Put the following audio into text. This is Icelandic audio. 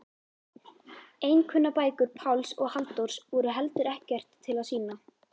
Einkunnabækur Páls og Halldórs voru heldur ekkert til að sýna.